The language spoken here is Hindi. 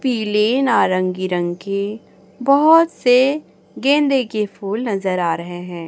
पीली नारंगी रंग की बहोत से गेंदे के फूल नजर आ रहे हैं।